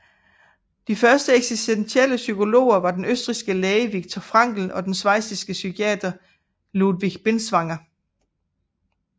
De første eksistentielle psykologer var den østrigske læge Viktor Frankl og den schweiziske psykiater Ludwig Binswanger